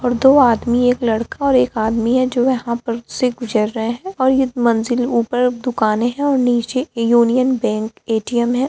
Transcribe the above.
और दो आदमी एक लड़का और एक आदमी हैं जो यहाँ पर से गुजर रहें हैं और ये मंजिल ऊपर दुकानें हैं और निचे यूनियन बैंक ए.टी.एम. है।